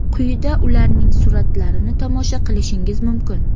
Quyida ularning suratlarini tomosha qilishingiz mumkin.